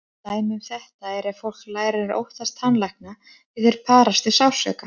Dæmi um þetta er ef fólk lærir að óttast tannlækna því þeir parast við sársauka.